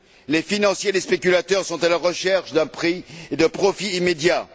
Les financiers et les spéculateurs sont à la recherche d'un prix et de profits immédiats.